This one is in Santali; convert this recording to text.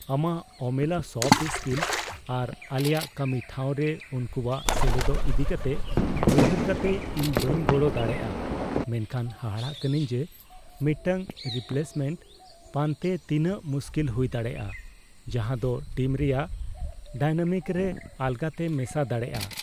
ᱟᱢᱟᱜ ᱚᱢᱮᱞᱟ ᱥᱚᱯᱷᱴ ᱥᱠᱤᱞ ᱟᱨ ᱟᱞᱮᱭᱟᱜ ᱠᱟᱹᱢᱤ ᱴᱷᱟᱶ ᱨᱮ ᱩᱱᱠᱩᱭᱟᱜ ᱥᱮᱞᱮᱫᱚᱜ ᱤᱫᱤ ᱠᱟᱛᱮ ᱩᱭᱦᱟᱹᱨ ᱠᱟᱛᱮ, ᱤᱧ ᱵᱟᱹᱧ ᱜᱚᱲᱚ ᱫᱟᱲᱮᱭᱟᱜᱼᱟ ᱢᱮᱱᱠᱷᱟᱱ ᱦᱟᱦᱟᱲᱟ ᱠᱟᱹᱱᱟᱹᱧ ᱡᱮ ᱢᱤᱫᱴᱟᱝ ᱨᱤᱯᱞᱮᱥᱢᱮᱱᱴ ᱯᱟᱱᱛᱮᱭ ᱛᱤᱱᱟᱹᱜ ᱢᱩᱥᱠᱤᱞ ᱦᱩᱭ ᱫᱟᱲᱮᱭᱟᱜᱼᱟ ᱡᱟᱦᱟᱸᱫᱳ ᱴᱤᱢ ᱨᱮᱭᱟᱜ ᱰᱟᱭᱱᱟᱢᱤᱠ ᱨᱮ ᱟᱞᱜᱟᱛᱮ ᱢᱮᱥᱟ ᱫᱟᱲᱮᱭᱟᱜᱼᱟ ᱾